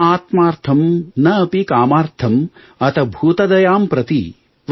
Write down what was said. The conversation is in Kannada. ನ ಆತ್ಮಾಥರ್ಂ ನ ಅಪಿ ಕಾಮಾಥರ್ಂ ಅತಭೂತ ದಯಾಂ ಪ್ರತಿ